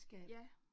Ja